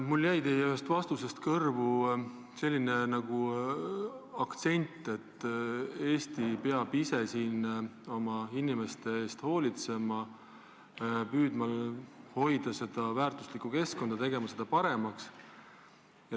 Mulle jäi ühest teie vastusest kõrvu selline rõhuasetus, et Eesti peab ise oma inimeste eest hoolitsema, püüdma hoida seda väärtuslikku keskkonda, tegema seda paremaks.